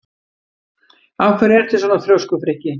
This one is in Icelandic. Af hverju ertu svona þrjóskur, Frikki?